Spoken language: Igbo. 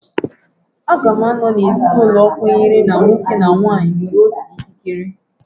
Aga m anọ na ezinụlọ kwenyere na nwoke na nwaanyị nwere otu ikikere.